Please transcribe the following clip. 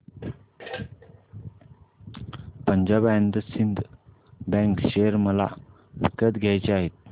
Punjab and Sind Bank share मला विकत घ्यायचे आहेत